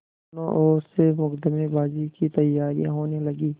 दोनों ओर से मुकदमेबाजी की तैयारियॉँ होने लगीं